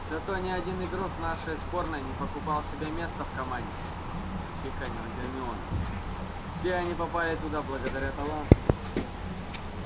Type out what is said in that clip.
зато ни один игрок нашей сборной не покупал себе место в команде отчеканила гермиона все они попали туда благодаря таланту